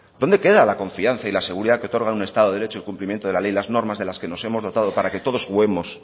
dónde queda la confianza y la seguridad que otorga un estado de derecho el cumplimiento de la ley y de las normas que nos hemos dotado para que todos juguemos